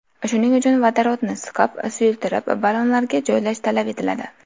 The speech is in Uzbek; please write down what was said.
Shuning uchun vodorodni siqib, suyultirib, ballonlarga joylash talab etiladi.